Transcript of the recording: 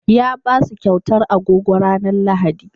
Ya ba su kyautar agogo ranar Lahadi.